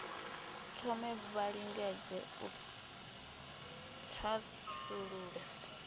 thome vha lingedze u thasulula